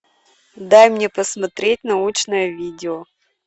дай мне посмотреть научное видео